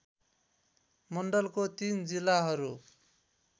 मण्डलको ३ जिल्लाहरू